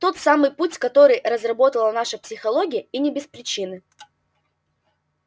тот самый путь который разработала наша психология и не без причины